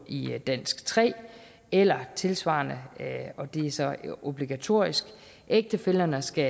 i dansk tre eller tilsvarende og det er så obligatorisk ægtefællerne skal